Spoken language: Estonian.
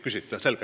Küsite?